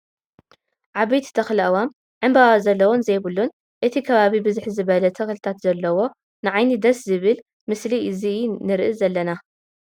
ዓበይቲ ተክሊ ኣእዋም ዕብበባ ዘለዎን ዘይብሉን እቲ ከባቢ ብዝሕ ዝበለ ተክልታት ዘለዎ ንዓይኒ ደስ ዝብል ምስሊ ዚና ንርኢ ዘለና ።